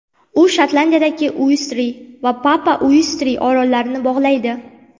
U Shotlandiyadagi Uestrey va Papa-Uestrey orollarini bog‘laydi.